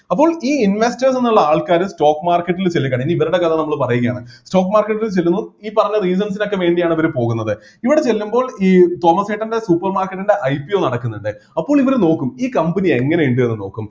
അപ്പോൾ ഈ investor എന്നുള്ള ആൾക്കാര് stock market ൽ ചെല്ലുകയാണ് ഇനി ഇവരുടെ കഥ നമ്മള് പറയുകയാണ് stock market ൽ ചെല്ലുന്നു ഈ പറഞ്ഞ reasons നൊക്കെ വേണ്ടിയാണ് അവര് പോകുന്നത് ഇവിടെ ചെല്ലുമ്പോൾ ഈ തോമസേട്ടൻ്റെ supermarket ൻ്റെ IPO നടക്കുന്നുണ്ട് അപ്പോൾ ഇവർ നോക്കും ഈ company എങ്ങനെയുണ്ട് എന്ന് നോക്കും